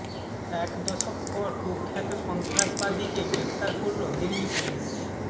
এক দশক পর কুখ্যাত সন্ত্রাসবাদীকে গ্রেফতার করল দিল্লি পুলিস